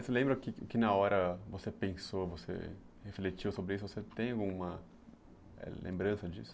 Você lembra que que na hora que você pensou, você refletiu sobre isso, você tem alguma lembrança disso?